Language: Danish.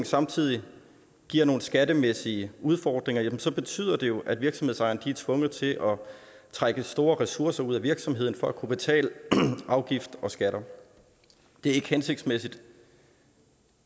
samtidig giver nogle skattemæssige udfordringer så betyder det jo at virksomhedsejerne er tvunget til at trække store ressourcer ud af virksomheden for at kunne betale afgifter og skatter det er ikke hensigtsmæssigt